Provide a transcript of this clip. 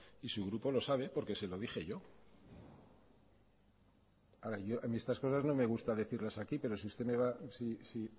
y su grupo lo sabe porque se lo dije yo a ver a mí estas cosas no me gusta decirlas aquí pero si